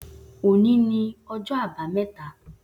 O ni ni ọjọ abameta